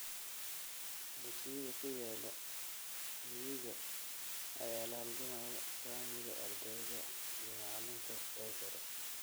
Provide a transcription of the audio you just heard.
Dugsiyada ku yaal miyiga ayaa la halgamaya saamiga ardayda iyo macalinka ee sare.